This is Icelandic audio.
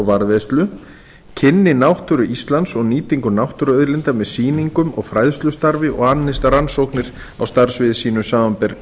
varðveislu kynni náttúru íslands og nýtingu náttúruauðlinda með sýningum og fræðslustarfi og annist rannsóknir á starfssviði sínu samanber